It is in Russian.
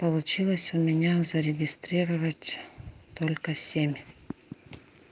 получилось у меня зарегистрировать только семь